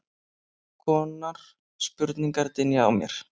konar spurningar dynja á mér.